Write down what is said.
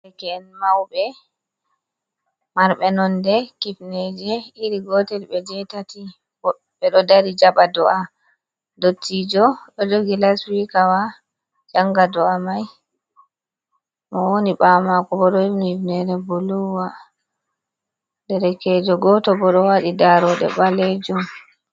Himɓe maube marɓe nonde kifneje iri gotel ɓe jetati, ɓe ɗo dari jaɓa do’a, ndottijo ɗo jogi las sikawa janga do’a mai, mo woni ɓawo mako bo ɗo hifni hifnere blu wa, derekejo goto ɓo ɗo waɗi daroɗɗe ɓalejum.